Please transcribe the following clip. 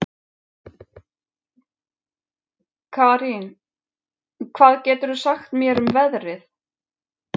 Karín, hvað geturðu sagt mér um veðrið?